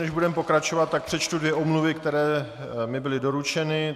Než budeme pokračovat, tak přečtu dvě omluvy, které mi byly doručeny.